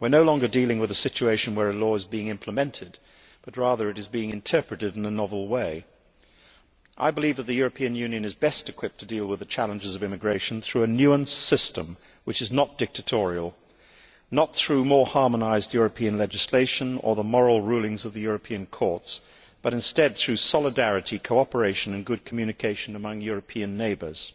We are no longer dealing with a situation where a law is being implemented, but rather it is being interpreted in a novel way. I believe that the European Union is best equipped to deal with the challenges of immigration through a nuanced system which is not dictatorial, not through more harmonised European legislation or the moral rulings of the European courts, but instead through solidarity, cooperation and good communication among European neighbours.